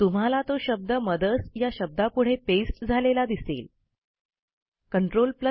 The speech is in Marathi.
तुम्हाला तो शब्द मदर्स या शब्दापुढे पेस्ट झालेला दिसेल